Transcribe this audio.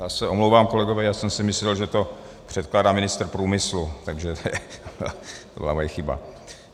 Já se omlouvám, kolegové, já jsem si myslel, že to předkládá ministr průmyslu, takže to byla moje chyba.